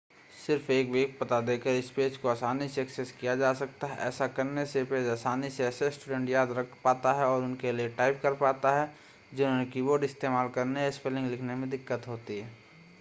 सिर्फ़ एक वेब पता देकर इस पेज को आसानी से एक्सेस किया जा सकता है ऐसा करने से यह पेज आसानी से ऐसे स्टूडेंट याद रख पाता है और उनके लिए टाइप कर पाता है जिन्हें की-बोर्ड इस्तेमाल करने या स्पेलिंग लिखने में दिक्कत होती है